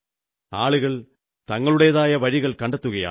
ആളുകൾ തങ്ങളുടേതായ വഴികൾ കണ്ടെത്തുകയാണ്